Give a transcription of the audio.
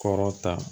Kɔrɔ ta